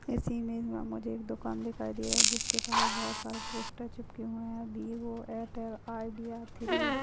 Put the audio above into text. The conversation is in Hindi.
इस इमेज मे मुझे एक दुकान दिखाई दे रही है जिसके पास बहुत सारे पोस्टर चिपके हुए है बी वो एयरटेल आइडीआ थ्री --